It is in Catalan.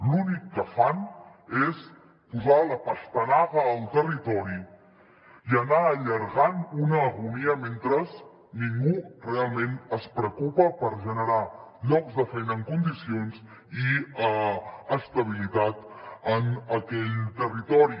l’únic que fan és posar la pastanaga al territori i anar allargant una agonia mentre ningú realment es preocupa per generar llocs de feina en condicions i estabilitat en aquell territori